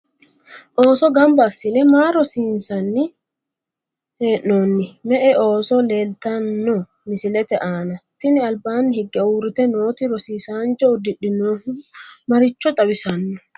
ooso gamba assine maa rosiinsanni hee'noonni? me''e ooso leeltanno mislete aana? tini albaanni higge uurrite nooti rosiisaancho uddidhinohu maricho xawisanno?